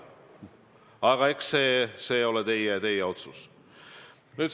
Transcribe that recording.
Aga eks see ole teie otsustada.